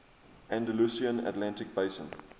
andalusian atlantic basin